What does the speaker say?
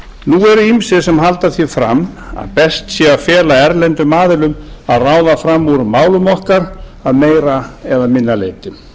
nú eru ýmsir sem halda því fram að best sé að fela erlendum aðilum að ráða fram úr málum okkar að meira eða minna leyti